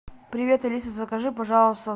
привет алиса закажи пожалуйста